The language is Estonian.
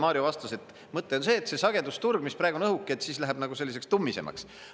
Mario vastas, et mõte on see, et see sagedusturg, mis praegu on õhuke, siis läheb selliseks tummisemaks.